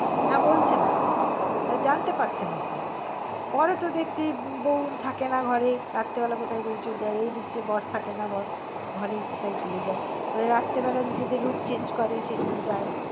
না বলছেন না জানতে পারছেনা তো পরে তো দেখছি বৌ থাকে না ঘরে রাত্রি বেলা কোথায় বেরিয়ে চলে যায় এই দেখছে বর থাকে না বর ঘরেই কোথায় চলে যায় মানে রাত্রে বেলা নিজেদের রূপ change করে সেজন্য যায়